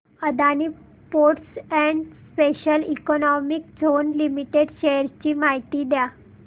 Adani ports and special economic zone limited shares ची माहिती द्या